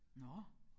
Nåh